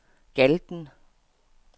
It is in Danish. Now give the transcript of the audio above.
Galten